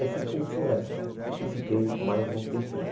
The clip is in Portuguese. Aí fui para o Floresta e fiquei mais um tempinho.